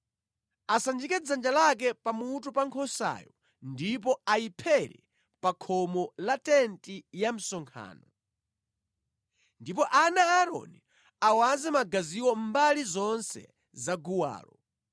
Asanjike dzanja lake pamutu pa nkhosayo ndipo ayiphere pa khomo la tenti ya msonkhano. Ndipo ana a Aaroni awaze magaziwo mbali zonse za guwalo.